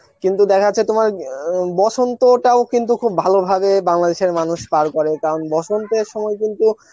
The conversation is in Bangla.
কিন্তু দেখা যাচ্ছে তোমার অ্যাঁ বসন্তটাও কিন্তু খুব ভালো ভাবে বাংলা দেশের মানুষ পার করে কারণ বসন্তের সময় কিন্তু